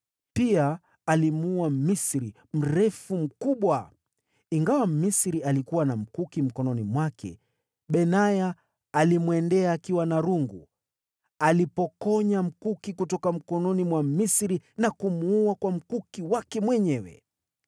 Pia alimuua Mmisri mrefu mkubwa. Ingawa Mmisri alikuwa na mkuki mkononi mwake, Benaya alimwendea akiwa na rungu. Alipokonya mkuki kutoka mkononi mwa Mmisri na kumuua kwa mkuki wake mwenyewe.